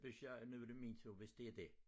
Hvis jeg nu er det min tur hvis det er dét